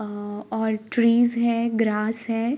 आ trees है grass है।